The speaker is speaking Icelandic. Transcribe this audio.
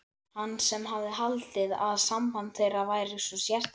Hann sem hafði haldið að samband þeirra væri svo sérstakt.